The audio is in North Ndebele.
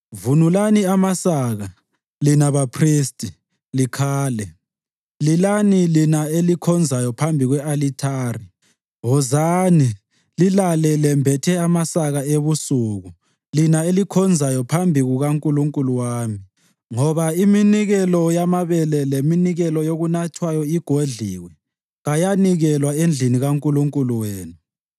Vunulani amasaka, lina baphristi, likhale. Lilani lina elikhonzayo phambi kwe-alithari. Wozani, lilale lembethe amasaka ebusuku, lina elikhonzayo phambi kukaNkulunkulu wami, ngoba iminikelo yamabele leminikelo yokunathwayo igodliwe, kayanikelwa endlini kaNkulunkulu wenu.